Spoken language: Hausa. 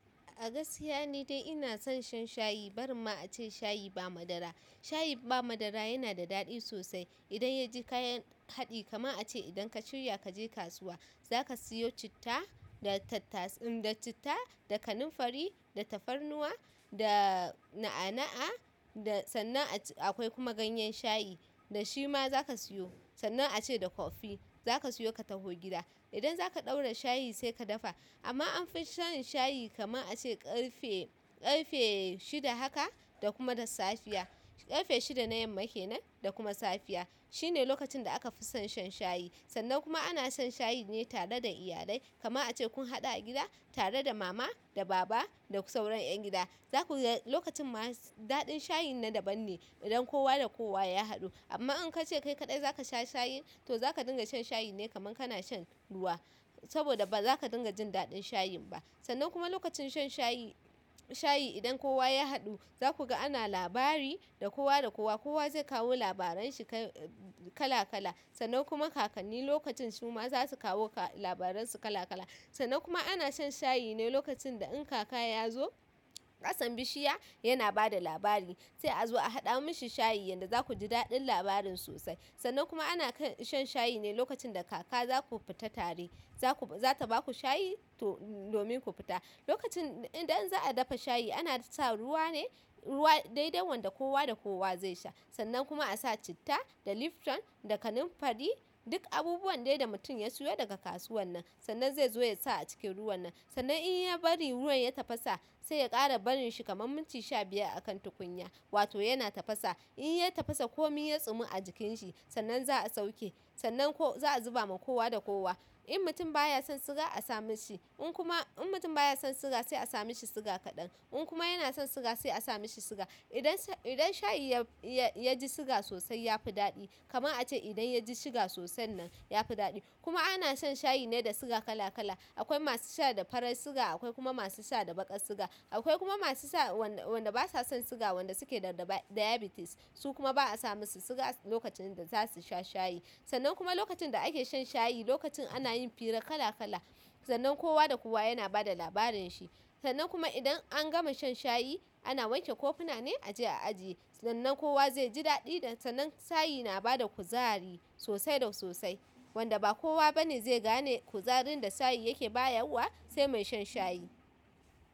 A gaskiya ni dai ina son shan shayi, barin ma ace shayi ba madara. Shayi ba madara yana da daɗi sosai idan ya ji kayan haɗi kamar ace idan ka shirya kaje kasuwa zaka siyo citta, da tattas, da citta, da kanunfari, da tafarnuwa, da na'ana'a, da sannan akwai kuma ganyen shayi da shi ma zaka siyo. Sannan ace da kofi zaka siyo ka tafi gida. Idan zaka ɗaura shayi sai ka dafa. Amma anfi shan shayi kaman ace ƙarfe, ƙarfe shida haka da kuma da safiya. Ƙarfe shida na yamma kenan da kuma safiya. Shine lokacin da aka fi son shan shayi. Sannan kuma ana shan shayi ne tare da iyalai. Kamar ace kun haɗu a gida tare da mama, da baba, da sauran ƴan gida. Zaku ga lokacin ma daɗin shayin na daban ne idan kowa da kowa ya haɗu. Amma in kace kai kaɗai zaka sha shayi, toh zaka dinga shan shayi ne kaman kana shan ruwa. Saboda baza ka dinga jin daɗin shayin ba. Sannan kuma lokacin shan shayi, shayi idan kowa ya haɗu zaku ga ana labari da kowa da kowa. Kowa zai kawo labaran shi kala kala. Sannan kuma kakanni lokacin su ma za su kawo labaran su kala kala. Sannan kuma ana shan shayi ne lokacin da in kaka ya zo ƙasan bishiya yana bada labari sai a zo a haɗa mishi shayi yanda zaku ji daɗin labarin sosai. Sannan kuma ana shan shayi ne lokacin da kaka zaku fita tare. Zaku, za ta baku shayi to domin ku fita. Lokacin idan za'a dafa shayi ana sa ruwa ne, ruwa daidai wanda kowa da kowa zai sha. Sannan kuma a sa citta, da Lifton, da kanunfari, duk abubuwan dai da mutum ya siyo daga kasuwan nan. Sannan zai zo ya sa a cikin ruwan nan. Sannan in ya bari ruwan ya tafasa sai ya ƙara barin shi kaman minti sha biyar a kan tukunya. Wato yana tafasa. In ya tafasa komai ya tsumi a jikin shi sannan za'a sauke. Sannan za'a zuba ma kowa da kowa. In mutum ba ya son suga a sa mishi. In kuma, in mutum baya son siga sai a sa mishi siga kaɗan. In kuma yana son suga sai a sa mishi suga idan shayi ya ji suga sosai yafi daɗi. Kaman ace idan yaji suga sosai nan ya fi daɗi. Kuma ana shan shayi ne da siga kala kala. Akwai masu sha da farar siga, akwai kuma masu sha da baƙar siga. Akwai kuma masu sha wanda basa son siga, wanda suke da ɗaba, diabetes su kuma ba'a sa musu suga lokacin da zasuyi sha shayi. Sannan kuma lokacin da ake shan shayi, lokacin ana yin fira kala kala. Sannan kowa da kowa yana bada labarin shi. Sannan kuma idan an gama shan shayi ana wanke kofuna ne a je a ajiye. Sannan kowa zai ji daɗi. Sannan shayi na bada kuzari sosai da sosai wanda ba kowa bane zai gane kuzarin da shayi yake bayarwa sai mai shan shayi.